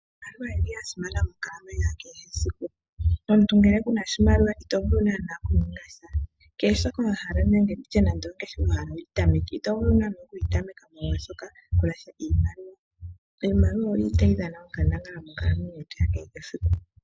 Iimaliwa oyili ya simana monkalamwenyo ya kehesiku. Omuntu ngele kuna oshimaliwa ito vulu naana oku ninga sha kehe shoka wa hala nenge ongeshefa wa hala okuyi tameka ito vulu naana okuyi tameka molwashoka kuna sha iimaliwa . Iimaliwa oyili tayi dhana onkandangala monkalamwenyo yetu ya kehesiku.